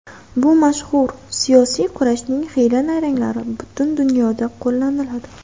Bu mashhur... siyosiy kurashning xiyla-nayranglari butun dunyoda qo‘llaniladi.